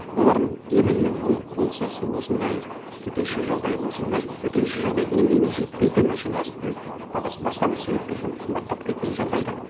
олардың именно оның функциясы осындай төтенше жағдай болсын даже төтенше жағдай деңгейіне жетпейтін әншейін азық түлік бағасы басқа бір себептермен қымбаттап кеткен жағдайда